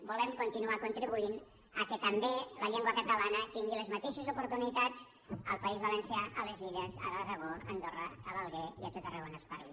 volem continuar contribuint que també la llengua catalana tingui les mateixes oportunitats al país valencià a les illes a l’aragó a andorra a l’alguer i a tot arreu on es parli